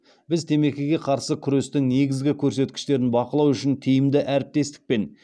біз темекіге қарсы күрестің негізгі көрсеткіштерін бақылау үшін тиімді әріптестік пен